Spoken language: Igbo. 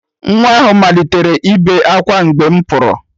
Nwa ahụ malitere ibe ákwá mgbe m pụrụ